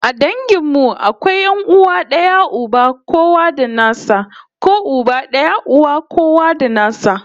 A dangin mu akwai 'yan'uwa d'aya uba kowa da nasa ko uba daya uwa kowa da nasa